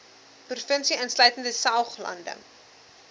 provinsie insluitende saoglande